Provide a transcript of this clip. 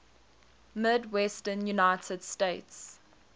midwestern united states